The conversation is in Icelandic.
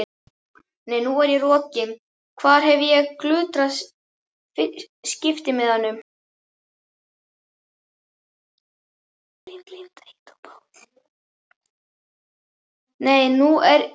Nei, nú er ég rokin, hvar hef ég glutrað skiptimiðanum?